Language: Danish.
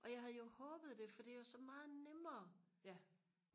og jeg havde jo håbet det for det er jo så meget nemmere